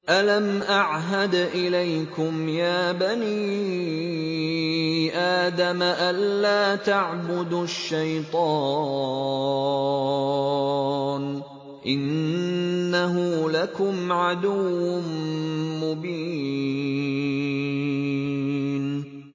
۞ أَلَمْ أَعْهَدْ إِلَيْكُمْ يَا بَنِي آدَمَ أَن لَّا تَعْبُدُوا الشَّيْطَانَ ۖ إِنَّهُ لَكُمْ عَدُوٌّ مُّبِينٌ